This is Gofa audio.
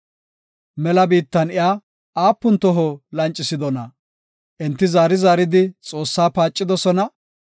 Enti zaari zaaridi Xoossaa paacidosona; Isra7eele Geeshshaa yiloyidosona.